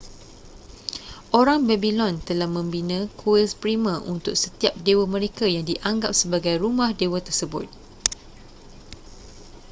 orang babylon telah membina kuil primer untuk setiap dewa mereka yang dianggap sebagai rumah dewa tersebut